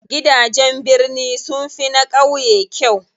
Gidajen birni sunfi na ƙauye kyau.